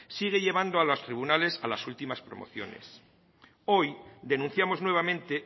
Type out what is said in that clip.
sigue llevando a los tribunales a las últimas promociones hoy denunciamos nuevamente